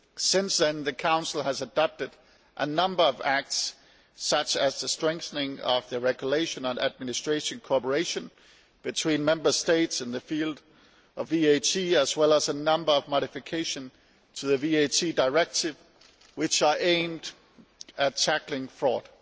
Since then the Council has adopted a number of acts such as the strengthening of the regulation on administrative cooperation between Member States in the field of VAT as well as a number of modifications to the VAT Directive which are aimed at tackling fraud.